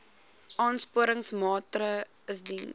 aansporingsmaatre ls diens